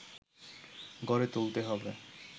গড়ে তুলতে হবে